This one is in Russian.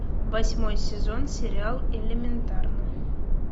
восьмой сезон сериал элементарно